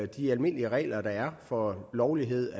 de almindelige regler der er for lovlighed